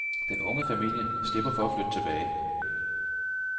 Den unge familie slipper for at flytte tilbage.